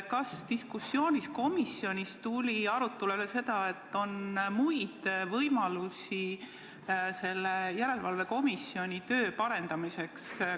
Kas diskussioonis komisjonis tuli arutlusele, et on ehk ka muid võimalusi selle järelevalve parandamiseks?